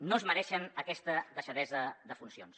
no es mereixen aquesta deixadesa de funcions